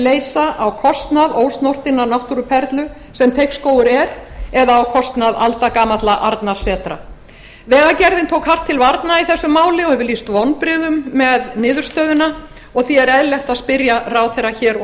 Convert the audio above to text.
leysa á kostnað ósnortinnar náttúruperlu sem teigsskógur er eða á kostnað aldagamalla arnarsetra vegagerðin tók hart til varnar í þessu máli og hefur lýst vonbrigðum með niðurstöðuna og því er eðlilegt að spyrja ráðherra hér og